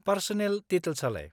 Personal डिटेल्सआलाय?